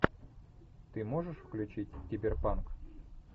ты можешь включить киберпанк